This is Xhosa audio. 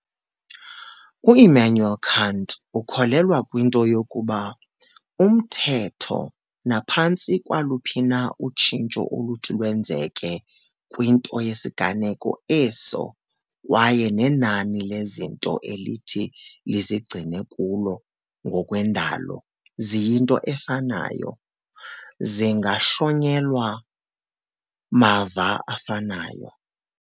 U-Immanuel Kant ukholelwa kwinto yokokuba umthetho naphantsi kwaluphi na utshintsho oluthi lwenzeke kwinto yesiganeko eso kwaye nenani lezinto elithi lizigcine kulo ngokwendalo ziyinto efanayo, zingahlonyelwa "mava afanayo."